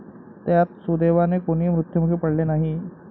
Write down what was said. त्यात सुदैवाने कोणी मृत्युमुखी पडले नाही.